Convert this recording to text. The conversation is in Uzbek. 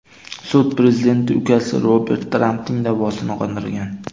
Sud prezidentning ukasi Robert Trampning da’vosini qondirgan.